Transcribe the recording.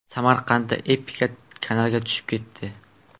Samarqandda Epica kanalga tushib ketdi.